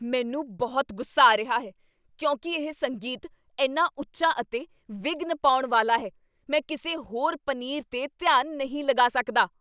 ਮੈਨੂੰ ਬਹੁਤ ਗੁੱਸਾ ਆ ਰਿਹਾ ਹੈ ਕਿਉਂਕਿ ਇਹ ਸੰਗੀਤ ਇੰਨਾ ਉੱਚਾ ਅਤੇ ਵਿਘਨ ਪਾਉਣ ਵਾਲਾ ਹੈ। ਮੈਂ ਕਿਸੇ ਹੋਰ ਪਨੀਰ 'ਤੇ ਧਿਆਨ ਨਹੀਂ ਲਗਾ ਸਕਦਾ।